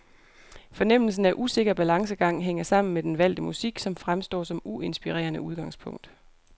Fornemmelsen af usikker balancegang hænger sammen med den valgte musik, som fremstår som uinspirerende udgangspunkt.